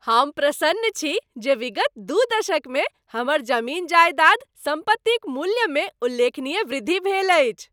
हम प्रसन्न छी जे विगत दू दशकमे हमर जमीन जायदाद सम्पत्तिक मूल्यमे उल्लेखनीय वृद्धि भेल अछि।